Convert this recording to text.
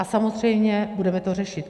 A samozřejmě budeme to řešit.